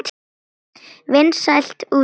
Vinsælt útspil.